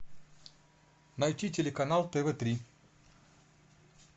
найти телеканал тв три